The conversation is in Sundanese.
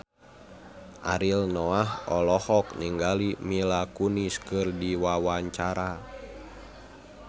Ariel Noah olohok ningali Mila Kunis keur diwawancara